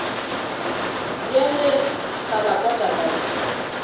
bjale tla ba pota kae